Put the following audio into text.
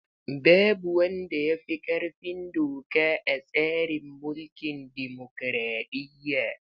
Babu wanda ya fi ƙarfin doka a tsarin mulkin dimokraɗiyya.